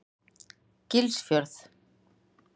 Gilsfjörð